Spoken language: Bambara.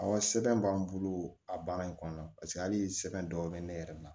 Awɔ sɛbɛn b'an bolo a baara in kɔnɔna na paseke hali sɛbɛn dɔw bɛ ne yɛrɛ la